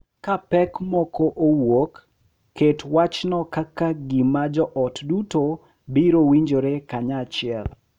Ka pek moko owuok, ket wachno kaka gima joot duto biro winjore kanyachiel .